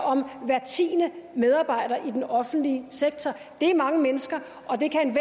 om hver tiende medarbejder i den offentlige sektor det er mange mennesker og det kan